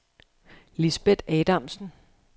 Lisbet Adamsen